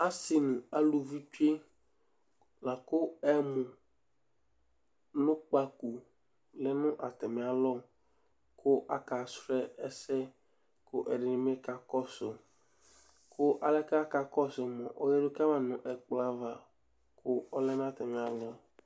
Asi ŋu aluvi tsʋe Laku ɛmu ŋu kpako lɛ ŋu atami alɔ kʋ akasrɔ ɛsɛ kʋ ɛɖìní bi kakɔsu Alɛ bʋakʋ akakɔsu mʋa ɔyaɖu kama ŋu ɛkplɔɛva kʋ ɔlɛ ŋu atamì alɔɛ